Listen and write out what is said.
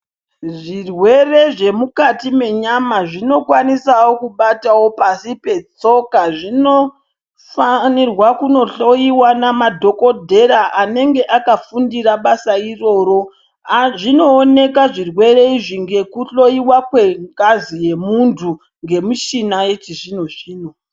Zvirwere zvemukati menyama zvinokwanisawo kubatawo pasi petsoka .Zvinofanirwa kunohloiwa nemadhokotera anenge akafundira basa iroro .Zvinooneka zvirwere Izvi ngekuhloiwa kwengazi yemuntu ngemuchini yechizvino zvino.